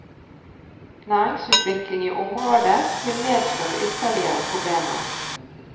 Næringsutvikling i området vil medføre ytterligere problemer.